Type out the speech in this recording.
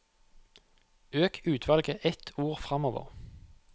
Øk utvalget ett ord framover